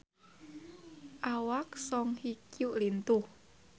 Awak Song Hye Kyo lintuh